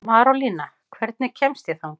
Marólína, hvernig kemst ég þangað?